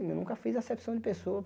Eu nunca fiz acepção de pessoa.